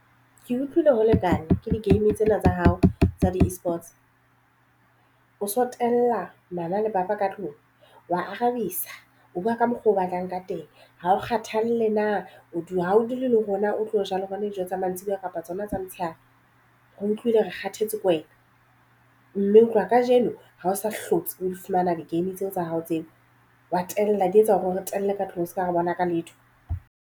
Ke utlwile ho lekana ke di-game tsena tsa hao tsa di-eSports o so tella mama le papa ka tlung wa arabisa o buwa ka mokgo o batlang ka teng. Ha o kgathalle na hao dule le rona o tlo ja le rona dijo tsa mantsibuya kapa tsona tsa motshehare. Re utlwile re kgathetse ke wena mme ho tloha kajeno ha o sa hlotse o di fumana di-game tseo tsa hao tseo wa tella di etsa hore o qetelle ka tlung se ka ha re bona ka letho.